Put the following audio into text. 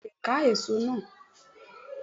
Beni mo le ka èso náà